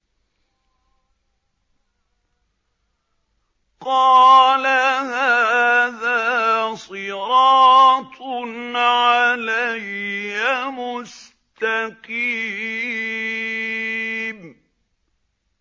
قَالَ هَٰذَا صِرَاطٌ عَلَيَّ مُسْتَقِيمٌ